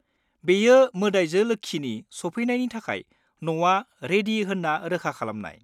बेयो मोदाइजो लोक्षिनि सफैनायनि थाखाय न'आ रेडि होन्ना रोखा खालामनाय।